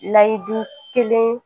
Layidu kelen